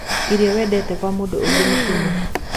Ĩrio wendete kwa mũndũ ũngĩ nĩ thumu.